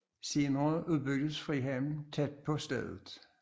Senere udbyggedes frihavnen tæt på stedet